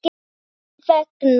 Sín vegna.